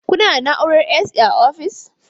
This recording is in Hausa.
Kuna da na'urar AC a ofis ɗin?